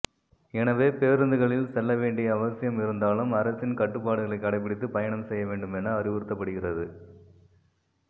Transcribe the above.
எனவே பேருந்துகளில் செல்ல வேண்டிய அவசியம் இருந்தாலும் அரசின் கட்டுப்பாடுகளை கடைப்பிடித்து பயணம் செய்ய வேண்டும் என அறிவுறுத்தப்படுகிறது